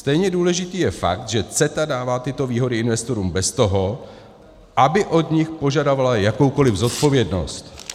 Stejně důležitý je fakt, že CETA dává tyto výhody investorům bez toho, aby od nich požadovala jakoukoliv zodpovědnost.